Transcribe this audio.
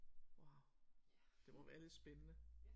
Wow det må være lidt spændende